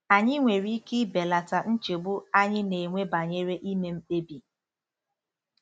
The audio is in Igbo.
Anyị nwere ike ibelata nchegbu anyị na-enwe banyere ime mkpebi.